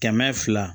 Kɛmɛ fila